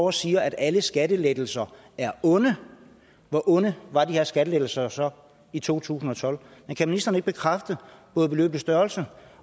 og siger at alle skattelettelser er onde hvor onde var de her skattelettelser så i 2012 kan ministeren ikke bekræfte både beløbets størrelse